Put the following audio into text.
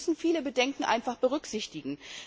Wir müssen viele Bedenken einfach berücksichtigen.